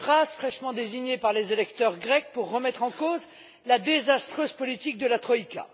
Tsipras, fraîchement désigné par les électeurs grecs pour remettre en cause la désastreuse politique de la troïka.